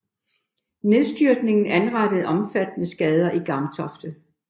Nedstyrtningen anrettede omfattende skader i Gamtofte